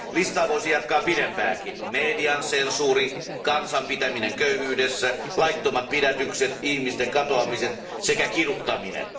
Listaa voisi jatkaa pidempäänkin median sensuuri, kansan pitäminen köyhyydessä, laittomat pidätykset, ihmisten katoamiset sekä kiduttaminen.